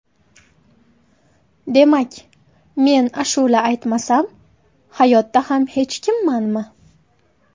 Demak, men ashula aytmasam, hayotda ham hech kimmanmi?